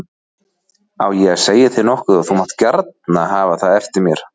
Á ég að segja þér nokkuð og þú mátt gjarna hafa það eftir mér.